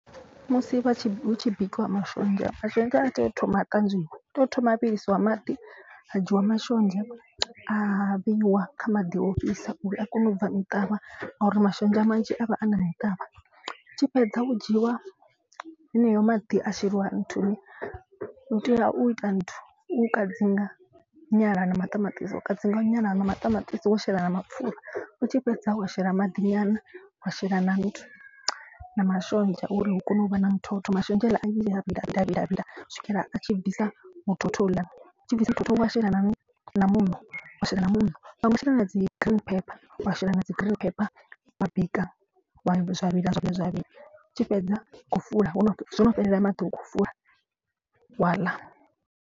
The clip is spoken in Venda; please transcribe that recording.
Musi vha tshi hu tshi bikiwa mashonzha mashonzha a tea u thoma a ṱanzwiwa tea u thoma a vhilisiwa maḓi. Ha dzhiwa mashonzha a bikiwa kha maḓi ofhisa uri a kone u bva muṱavha ngauri mashonzha manzhi a vha a na muṱavha. Tshi fhedza hu dzhiiwa heneyo maḓi a sheliwa nthuni u tea u ita nthu u kadzinga nyala na maṱamaṱisi. Wa kadzinga nyala na maṱamaṱisi wo shela na mapfura u tshi fhedza wa shela maḓi nyana. Wa shela na nthu na mashonzha uri hu kone u vha na muthotho mashonzha haaḽa a vhila u swikela a tshi bvisa muthotho houḽa. Tshi bvisa muthotho wa shela na muṋo wa shela na muṋo vhaṅwe vha shela na dzi green pepper wa shela na dzi green pepper wa bika vha. Zwa vhila zwine zwa vha tshi fhedza u fula wo no fhelela maḓi ukho fula wa ḽa.